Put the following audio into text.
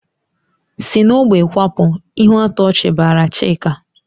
"Si n'ógbè kwapụ!" Ihuatọchị bara Chika.